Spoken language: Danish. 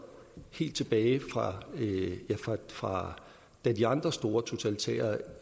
helt tilbage fra da de andre store totalitære